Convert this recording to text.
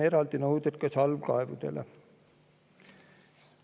Eraldi nõuded on salvkaevudele.